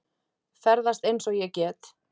Ferðast eins og ég get.